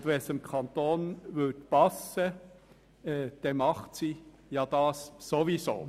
Und wenn es dem Kanton passen würde, dann macht sie das ohnehin.